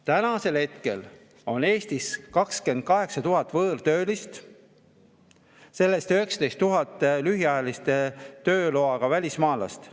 Tänasel hetkel on Eestis 28 000 võõrtöölist, sellest 19 000 lühiajalise tööloaga välismaalast.